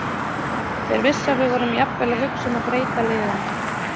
Þeir vissu að við vorum jafnvel að hugsa um að breyta liðinu.